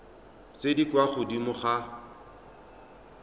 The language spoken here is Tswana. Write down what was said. tse di kwa godimo ga